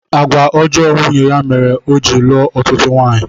Àgwà ọjọọ nwunye ya mere o ji lụọ ọtụtụ nwaanyị